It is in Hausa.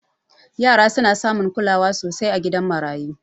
Yara suna samun kulawa sosai a gidan marayu